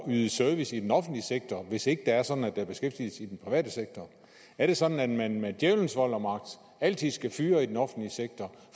yde service i den offentlige sektor hvis ikke det er sådan at der er beskæftigelse i den private sektor er det sådan at man med djævelens vold og magt altid skal fyre i den offentlige sektor